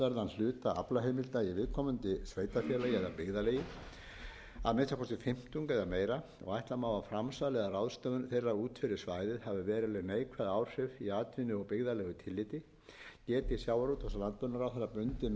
hluta aflaheimilda í viðkomandi sveitarfélagi eða byggðarlagi að minnsta kosti fimmtung eða meira og ætla má að framsal eða ráðstöfun þeirra út fyrir svæðið hafi veruleg neikvæð áhrif í atvinnu og byggðalegu tilliti geti sjávarútvegs og landbúnaðarráðherra bundið meðferð aflaheimilda